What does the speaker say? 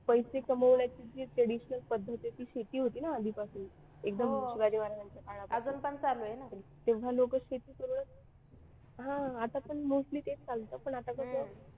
पैसे कमवण्याची जी traditional पद्धत आहे ती शेती होती ना आधीपासून एकदम शिवाजी महाराजांच्या काळापासून तेव्हा लोक शेती करूनच हा आता पण mostly ते चालतं पण आता कसं,